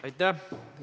Aitäh!